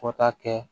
Fo ka taa kɛ